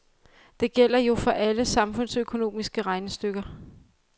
Det gælder jo for alle samfundsøkonomiske regnestykker.